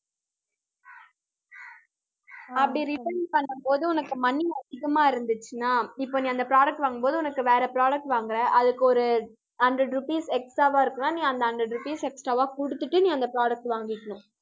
அப்படி return பண்ணும்போது, உனக்கு money அதிகமா இருந்துச்சுன்னா இப்ப நீ அந்த product வாங்கும்போது, உனக்கு வேற product வாங்கற, அதுக்கு ஒரு hundred rupees extra வா இருக்குன்னா நீ அந்த hundred rupees extra வா குடுத்துட்டு நீ அந்த products அ வாங்கிக்கணும்